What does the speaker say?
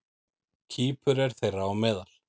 Kýpur er þeirra á meðal.